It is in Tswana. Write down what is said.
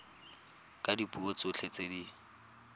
ka dipuo tsotlhe tse di